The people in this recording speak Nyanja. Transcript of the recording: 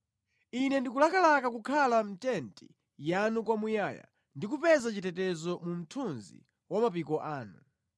Ine ndikulakalaka kukhala mʼtenti yanu kwamuyaya ndi kupeza chitetezo mu mthunzi wa mapiko anu.